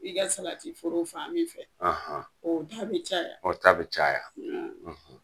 I ka salati foro fan min fɛ, oo da be caya. O ta be caya.